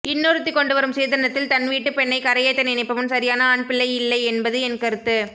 இன்னொருத்தி கொண்டுவரும் சீதனத்தில் தன்வீட்டுப் பெண்ணை கரையேத்த நினைப்பவன் சரியான ஆண்பிள்ளை இல்லை என்பது என்கருத்து